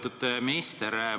Lugupeetud minister!